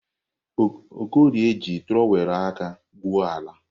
Okorie ji trọwelu aka gwuoọ ala.